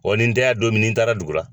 ni n tɛ yan don min ni n taara dugura.